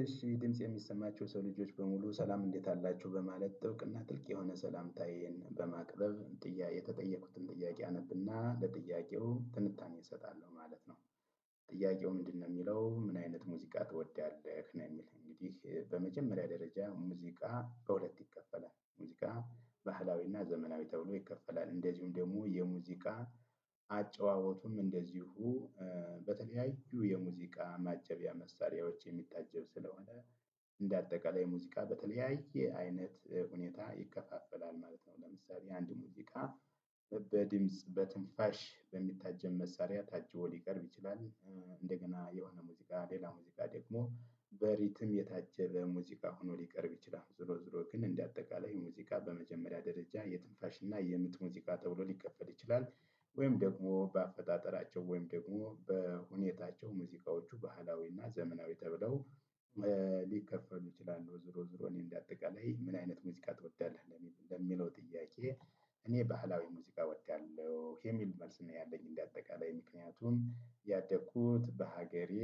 እሺ ድምጽ የሚሰማችሁ የሰው ልጆች በሙሉ ሰላም እንዴት አላችሁ በማለት ጥብቅና ጥልቅ የሆነ ሰላምታዬን በማቅረብ ጥያቄ የተጠየቁትን ጥያቄ አነብና ለጥያቄው ትንታኔ እሰጣለሁ ማለት ነው። ጥያቄው ምንድን ነው የሚለው ምን አይነት ሙዚቃ ትወደዋለህ ነው? የሚል እንግዲህ በመጀመሪያ ደረጃ ሙዚቃ በሁለት ይከፈላል ሙዚቃ ባህላዊና ዘመናዊ ተብሎ ይከፈላል እንደዚሁም ደግሞ የሙዚቃ አጨዋወቱም እንደዚሁ በተለያዩ የሙዚቃ ማጀቢያ መሳሪያዎች የሚታጀብ ስለሆነ እንደ አጠቃላይ ሙዚቃ በተለያየ አይነት ሁኔታ ይከፋፈላል ማለት ነው። ለምሳሌ አንድ ሙዚቃ በድምጽ በትንፋሽ በሚታጀብ መሳሪያ ታጅቦ ሊቀርብ ይችላል። እንደገና የሆነ ሙዚቃ ሌላ ሙዚቃ ደግሞ በሪትም የታጀበ ሙዚቃ ሆኖ ሊቀርብ ይችላል ዙሮ ዙሮ ግን እንደ አጠቃላይ ሙዚቃ በመጀመሪያ ደረጃ የትንፋሽ እና የምት ሙዚቃ ተብሎ ሊከፈል ይችላል። ወይም ደግሞ በአፈጣጠራቸው ወይም ደግሞ በሁኔታቸው ሙዚቃዎቹ ባህላዊና ዘመናዊ ተብለው ሊከፈሉ ይችላሉ። ዙሮ ዙሮ እኔ እንደ አጠቃላይ ምን አይነት ሙዚቃ ትወዳለህ? ለሚለው ጥያቄ እኔ ባህላዊ ሙዚቃ እወዳለሁ የሚል መልስ ነው ያለኝ እንደ አጠቃላይ ምክንያቱም ያደግኩት በሀገሬ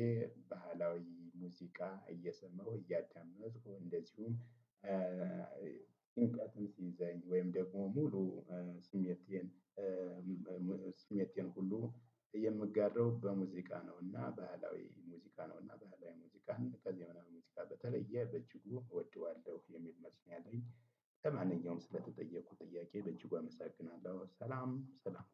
ባህላዊ ሙዚቃ እየሰማሁ እያዳመጥኩ እንደዚሁም ጭንቀትም ሲይዘኝ ወይም ደግሞ ሙሉ ስሜቴን ስሜቴን ሁሉ የምጋረው በሙዚቃ ነው። እና ባህላዊ ሙዚቃ ነውና ባህላዊ ሙዚቃን ከዘመናዊ ሙዚቃ በተለየ በጅጉ እወደዋለሁ የሚል መስኛ ላይ። ለማንኛውም ስለተጠየኩት ጥያቄ በእጅጉ አመሰግናለሁ ሰላም ሰላም